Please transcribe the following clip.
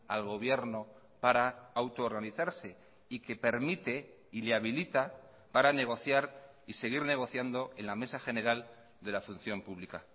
al gobierno para auto organizarse y que permite y le habilita para negociar y seguir negociando en la mesa general de la función pública